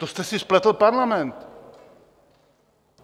To jste si spletl parlament!